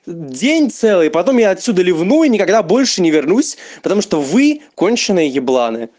день целый потом я отсюда ревнуй и никогда больше не вернусь потому что вы конченые ебла